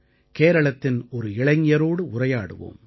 கேரளத்தின் ஒரு இளைஞரோடு உரையாடுவோம்